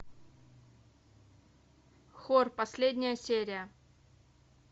хор последняя серия